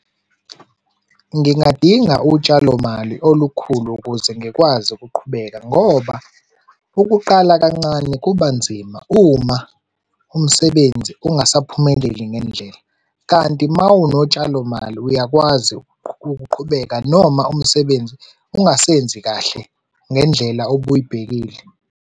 Ngingadinga utshalomali olukhulu ukuze ngikwazi ukuqhubeka ngoba ukuqala kancane kuba nzima uma umsebenzi ungasaphumeleli ngendlela, kanti uma unotshalomali uyakwazi ukuqhubeka noma umsebenzi ungasenzi kahle ngendlela obuyibhekile.